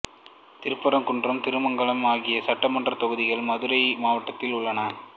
திருப்பரங்குன்றம் திருமங்கலம் ஆகிய சட்டமன்றத் தொகுதிகள் மதுரை மாவட்டத்தில் உள்ளன